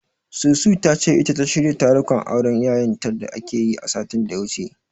Susu ta ce, ita ta shirya tarukan auren Yayanta da akayi, satin da ya wuce.